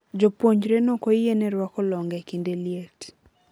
Jopuonjre nokoyiene rwako longe kinde liet.